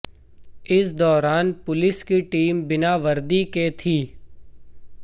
इस दौरान पुलिस की टीम बिना वर्दी के थी